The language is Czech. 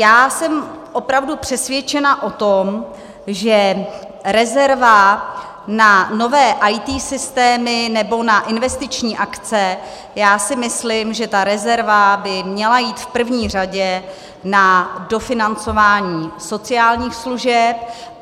Já jsem opravdu přesvědčena o tom, že rezerva na nové IT systémy nebo na investiční akce, já si myslím, že ta rezerva by měla jít v první řadě na dofinancování sociálních služeb.